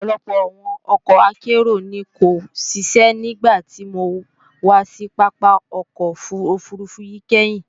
Ọ̀pọ̀lọpọ̀ àwọn ọkọ̀ akérò ni kò ṣiṣẹ́ nígbàtí mo wà sí Pápá ọkọ̀ òfurufú yìí kẹ́hìn